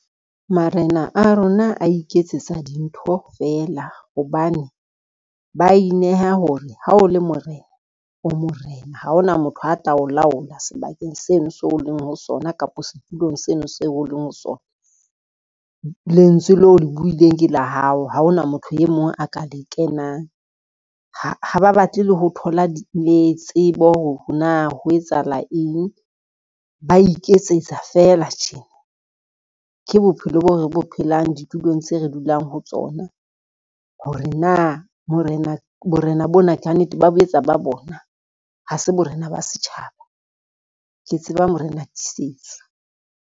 Marena a rona a iketsetsa dintho feela hobane, ba ineha hore ha o le morena o morena, ha ona motho a tla o laola sebakeng sena seo o leng ho sona kapa setulong seno seo o leng ho sona. Lentswe leo le buileng ke la hao, ha ona motho e mong a ka le kenang. Ha ba batle le ho thola le tsebo hore na ho etsahala eng, ba iketsetsa fela tjena, ke bophelo bo re bo phelang ditulong tse re dulang ho tsona, hore na borena bona ka nnete ba boetse ba bona ha se borena ba setjhaba. Ke tseba morena Tisetso.